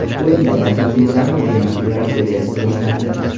O‘yindagi asosiy drama penaltilar seriyasida boshlandi.